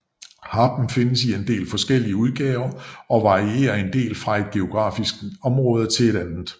Harpen findes i en del forskellige udgaver og varierer en del fra ét geografisk område til et andet